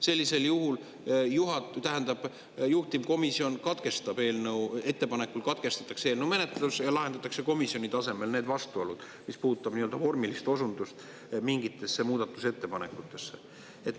Sellisel juhul juhtivkomisjoni ettepanekul katkestatakse eelnõu menetlus ja lahendatakse komisjoni tasemel see vastuolu, mis puudutab vormilist osundust mingitesse muudatusettepanekutesse.